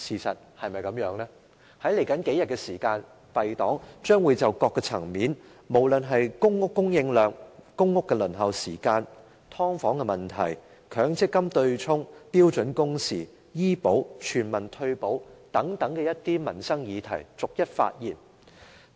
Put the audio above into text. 在接下來的數天，敝黨將會從各個層面，包括公屋供應量、公屋輪候時間、"劏房"問題、強積金對沖、標準工時、醫保及全民退保等民生議題逐一發言。